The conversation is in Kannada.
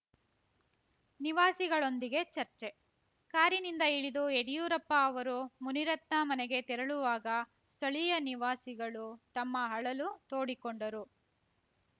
ನಿವಾಸಿಗಳೊಂದಿಗೆ ಚರ್ಚೆ ಕಾರಿನಿಂದ ಇಳಿದು ಯಡ್ಯೂರಪ್ಪ ಅವರು ಮುನಿರತ್ನ ಮನೆಗೆ ತೆರಳುವಾಗ ಸ್ಥಳೀಯ ನಿವಾಸಿಗಳು ತಮ್ಮ ಅಳಲು ತೋಡಿಕೊಂಡರು